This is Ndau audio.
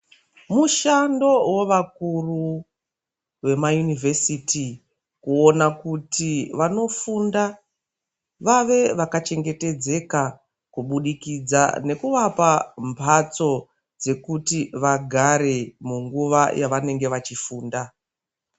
Mushando wovakuru vemayunovhesiti kuona kuti vanofunda vave vakachengetedzeka kubudikidza nukuvapa mbatso dzekuti vagare munguva dzavanenge vachifunda .